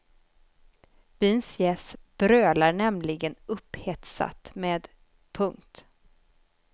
Byns gäss brölar nämligen upphetsat med. punkt